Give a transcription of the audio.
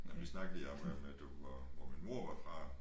Men vi snakkede lige om om at du var hvor min mor var fra